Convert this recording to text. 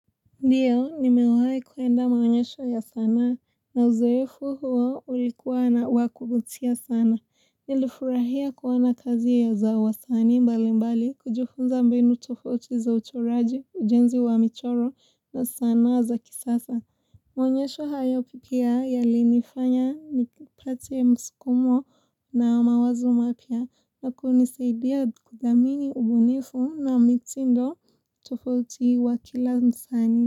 Ndiyo, nimewahi kwenda maonyesho ya sanaa, na uzoefu huo ulikuwa na wa kuvutia sana. Nilifurahia kuona kazi ya za wasani mbali mbali, kujufunza mbinu tofauti za uchoraji, ujenzi wa michoro, na sanaa za kisasa. Maonyesho hayo pia yalinifanya nipate mskumo na mawazo mapya kwa kunisaidia kudhamini ubunifu na mitindo tofauti wa kila msani.